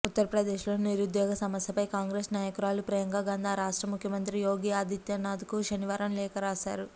ఉత్తరప్రదేశ్లో నిరుద్యోగ సమస్యపై కాంగ్రెస్ నాయకురాలు ప్రియాంకాగాంధీ ఆ రాష్ట్ర ముఖ్యమంత్రి యోగి ఆదిత్యనాథ్కు శనివారం లేఖ రాశారు